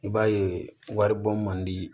I b'a ye wari bon man di